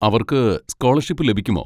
അവർക്ക് സ്കോളർഷിപ്പ് ലഭിക്കുമോ?